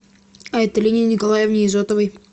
айталине николаевне изотовой